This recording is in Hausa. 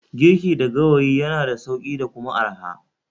Giriki da gawayi yana da sauki/arha